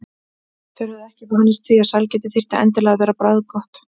Þeir höfðu ekki vanist því að sælgæti þyrfti endilega að vera bragðgott.